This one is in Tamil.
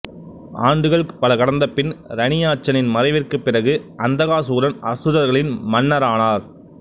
ஆண்டுகள் பல கடந்த பின் இரணியாட்சனின் மறைவிற்குப் பிறகு அந்தகாசூரன் அசுரர்களின் மன்னரானர்